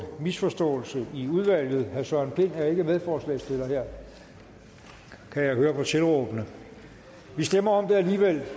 misforståelse i udvalget herre søren pind er ikke medforslagsstiller her kan jeg høre på tilråbene vi stemmer om det alligevel og